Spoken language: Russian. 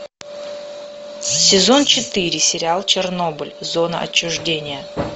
сезон четыре сериал чернобыль зона отчуждения